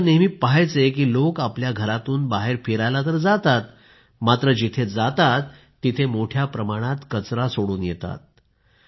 ही दोघे नेहमी पाहायची की लोक आपल्या घरातून बाहेर फिरायला तर जातात मात्र जिथे जातात तिथे मोठ्या प्रमाणात कचरा सोडून येतात